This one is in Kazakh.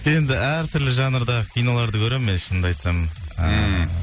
енді әртүрлі жанрда киноларды көремін мен шынымды айтсам ііі